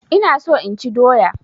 Ina so inchi doya